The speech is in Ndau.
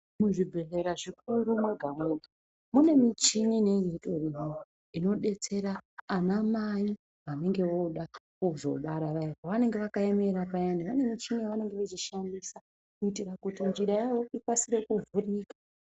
Muzvibhendhlera zvikuru mwega mwega mune muchini ineiterimo inodetsera anamai vanenge vooda kuzobara payani. Pavanenge vakaemera payani vane michini yavanenge veishandisa kuitira kuti njira yavo ikasire kuvhurika.